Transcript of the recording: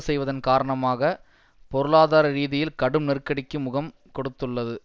செய்வதன் காரணமாக பொருளாதார ரீதியில் கடும் நெருக்கடிக்கு முகம் கொடுத்துள்ளது